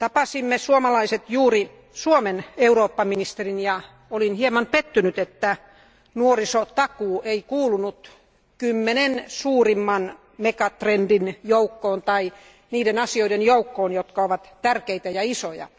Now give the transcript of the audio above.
Me suomalaiset tapasimme juuri Suomen Eurooppa ministerin, ja olin hieman pettynyt, että nuorisotakuu ei kuulunut 10 suurimman megatrendin joukkoon tai niiden asioiden joukkoon, jotka ovat tärkeitä ja isoja.